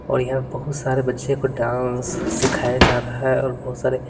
और यहाँ बहुत सारे बच्चे को डांस सिखाया जा रहा है और बहुत सारे--